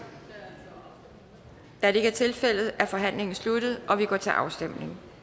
da det ikke er tilfældet er forhandlingen sluttet og vi går til afstemning